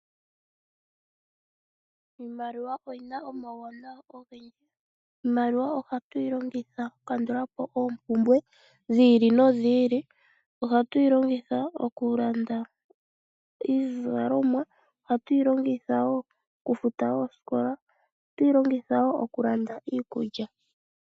Iimaliwa oyina omawuwanawa ogendji, iimaliwa ohatu yi longita oku kandulapo oompumbwe dhi ili nodhi ili , ohatu yi longitha okulanda iizalomwa, ohatu yilongitha okufuta oosikola nokulanda iikulya.